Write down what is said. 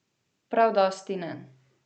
Prav dosti ne.